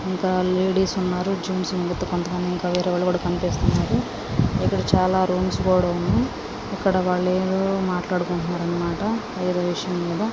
ఇక్కడ లేడీస్ ఉన్నారు జెంట్స్ వేరే వాలు కొంతమంది కనిపిస్తున్నారు ఇక్కడ చాల రూమ్స్ కూడా ఉన్నాయి ఇక్కడ వేరే వాళ్ళు ఏదో మాట్లాడుకుంటున్నారు.